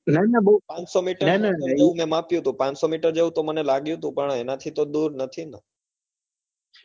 પાંચસો meter એવું હતું મેં માપ્યું હતું પાંચસો મીટર તો મને લાગ્યું તું પણ એના થી તો દુર નથી ને